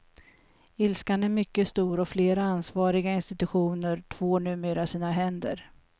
Ilskan är mycket stor, och flera ansvariga institutioner tvår numera sina händer.